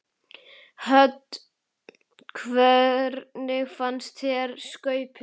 Hödd: Hvernig fannst þér skaupið?